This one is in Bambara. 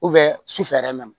su fɛ yɛrɛ mɛn